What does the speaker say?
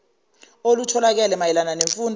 olutholakele mayela nemfundo